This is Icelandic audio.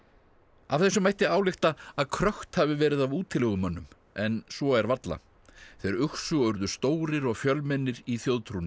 af þessu mætti álykta að hafi verið af útilegumönnum en svo er varla þeir uxu og urðu stórir og fjölmennir í þjóðtrúnni